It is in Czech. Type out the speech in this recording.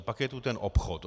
A pak je tu ten obchod.